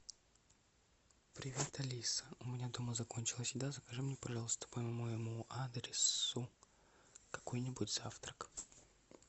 привет алиса у меня дома закончилась еда закажи мне пожалуйста по моему адресу какой нибудь завтрак